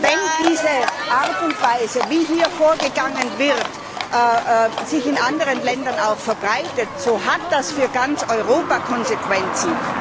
Wenn diese Art und Weise, wie hier vorgegangen wird, sich auch in anderen Ländern verbreitet, hat das für ganz Europa Konsequenzen.